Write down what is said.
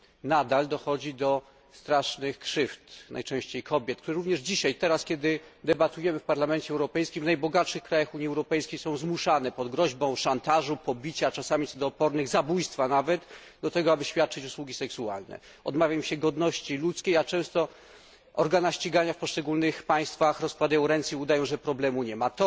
Nadal dochodzi do strasznych krzywd najczęściej wyrządzanych kobietom, które również dzisiaj teraz, kiedy debatujemy w Parlamencie Europejskim w najbogatszych krajach Unii Europejskiej są zmuszane pod groźbą szantażu, pobicia, czasami co do opornych zabójstwa nawet do tego, aby świadczyć usługi seksualne. Odmawia im się godności ludzkiej, a często organa ścigania w poszczególnych państwach rozkładają ręce i udają, że problemu nie ma.